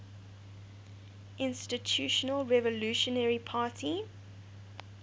institutional revolutionary party